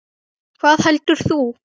Hvað heldur þú?